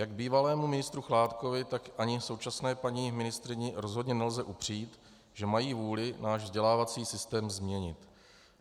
Jak bývalému ministru Chládkovi, tak ani současné paní ministryni rozhodně nelze upřít, že mají vůli náš vzdělávací systém změnit.